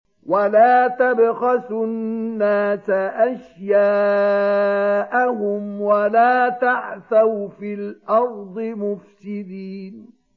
وَلَا تَبْخَسُوا النَّاسَ أَشْيَاءَهُمْ وَلَا تَعْثَوْا فِي الْأَرْضِ مُفْسِدِينَ